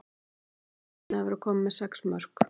Ég er mjög sátt með að vera komin með sex mörk.